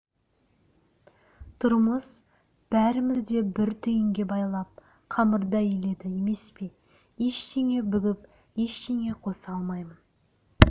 тұрмыс бәрімізді бір түйінге байлап қамырдай иледі емес пе ештеңе бүгіп ештеңе қоса алмаймын